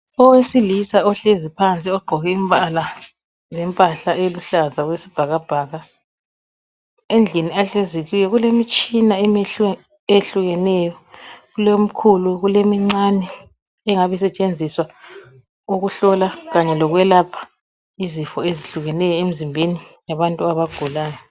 Owesilisa ohlezi phansi ogqoke imbala lempahla eluhlaza okwesibhakabhaka , endlini ahlezi kiyo kulemitshina ehlukeneyo kulemkhulu kulemincane engabisetshenziswa ukuhlola kanye lokwelapha izifo ezehlukeneyo emzimbeni yabantu abagulayo